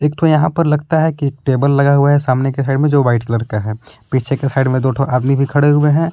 यहां पर लगता है कि टेबल लगा हुआ है सामने के साइड में जो व्हाइट कलर का है। पीछे के साइड में दो ठो आदमी भी खड़े हुए हैं।